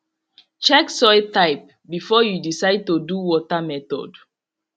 check soil type before you decide to do water method